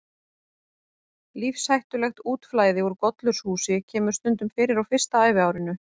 Lífshættulegt útflæði úr gollurshúsi kemur stundum fyrir á fyrsta æviárinu.